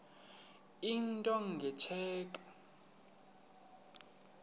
into nge tsheki